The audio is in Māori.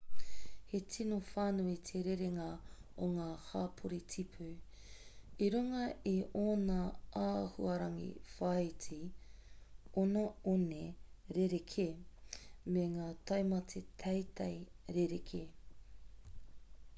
he tino whānui te rerenga o ngā hapori tipu i runga i ōna āhuarangi-whāiti ōna one rerekē me ngā taumata teitei rerekē